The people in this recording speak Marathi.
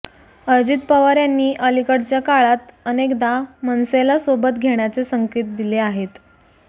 अजित पवार यांनी अलीकडच्या काळात अनेकदा मनसेला सोबत घेण्याचे संकेत दिले आहेत